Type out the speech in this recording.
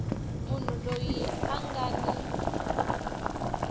munhu loyi a nga ni